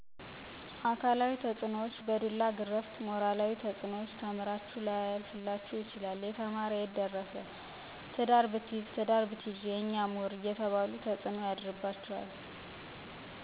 አካላዊ ተፅኖዎች፣ በዱላ ግረፍት ሞራላዊ ተፅኖዎች፣ ተምራችሁ ላያልፈላችሁ ይችላል የተማር የትደርስ ትዳር ብትይዝ ትዳር ብትይዥ የኛ ሙሁር አየተባሉ ተፅኖ ያድርባቸዋል።